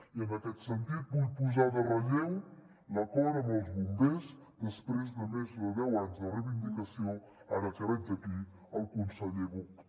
i en aquest sentit vull posar en relleu l’acord amb els bombers després de més de deu anys de reivindicació ara que veig aquí el conseller buch